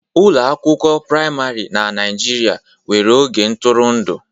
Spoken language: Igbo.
Ụlọ akwụkwọ praịmarị na Nigeria nwere oge ntụrụndụ.